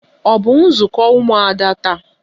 Ọ bụ nzukọ ụmụada taa?